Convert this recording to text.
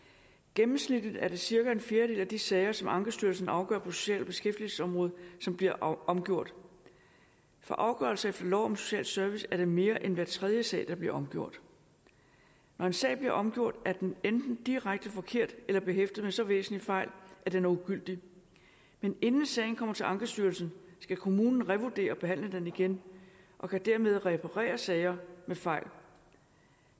gennemsnitligt er det cirka en fjerdedel af de sager som ankestyrelsen afgør på social og beskæftigelsesområdet som bliver omgjort for afgørelser efter lov om social service er det mere end hver tredje sag der bliver omgjort når en sag bliver omgjort er den enten direkte forkert eller behæftet med så væsentlige fejl at den er ugyldig men inden sagen kommer til ankestyrelsen skal kommunen revurdere og behandle den igen og kan dermed reparere sager med fejl